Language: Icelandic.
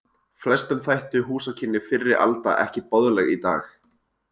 Flestum þættu húsakynni fyrri alda ekki boðleg í dag.